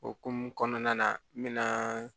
Okumu kɔnɔna na n bɛna